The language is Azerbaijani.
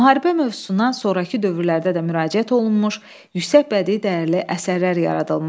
Müharibə mövzusuna sonrakı dövrlərdə də müraciət olunmuş, yüksək bədii dəyərli əsərlər yaradılmışdır.